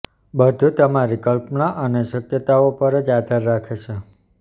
બધું તમારી કલ્પના અને શક્યતાઓ પર જ આધાર રાખે છે